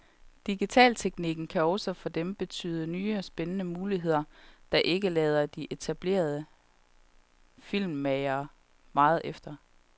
Digitalteknikken kan også for dem betyde nye og spændende muligheder, der ikke lader de etablerede filmmagere meget efter.